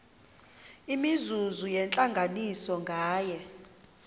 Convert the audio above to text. imizuzu yentlanganiso nganye